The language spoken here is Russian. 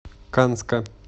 канска